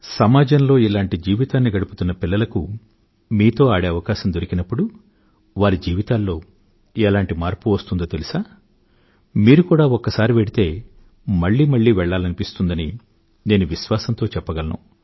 సమాజంలో ఇలాంటి జీవితాన్ని గడుపుతున్న పిల్లలకు మీతో ఆడే ఆవకాశం దొరికినప్పుడు వారి జీవితాల్లో ఎలాంటి మార్పు వస్తుందో తెలుసా మీకు కూడా ఒక్కసారి వెళ్తే మళ్ళీ మళ్ళీ వెళ్ళాలనిపిస్తుందని నేను విశ్వాసంతో చెప్పగలను